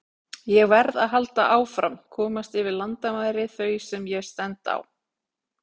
Ég verð að halda áfram, komast yfir landamæri þau sem ég stend á.